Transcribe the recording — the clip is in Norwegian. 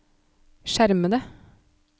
skjermede